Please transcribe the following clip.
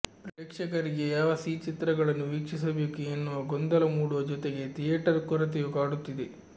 ಪ್ರೇಕ್ಷಕರಿಗೆ ಯಾವ ಸಿಚಿತ್ರಗಳನ್ನು ವಿಕ್ಷಿಸಬೇಕು ಎನ್ನುವ ಗೊಂದಲ ಮೂಡುವ ಜೊತೆಗೆ ಥಿಯೇಟರ್ ಕೊರತೆಯೂ ಕಾಡುತ್ತಿದೆ